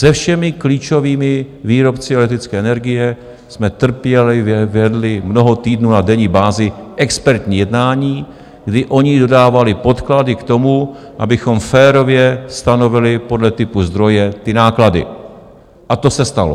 Se všemi klíčovými výrobci elektrické energie jsme trpělivě vedli mnoho týdnů na denní bázi expertní jednání, kdy oni dodávali podklady k tomu, abychom férově stanovili podle typu zdroje ty náklady, a to se stalo.